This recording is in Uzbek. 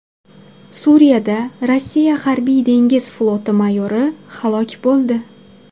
Suriyada Rossiya harbiy dengiz floti mayori halok bo‘ldi.